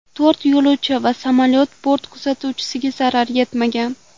To‘rt yo‘lovchi va samolyot bort kuzatuvchisiga zarar yetmagan.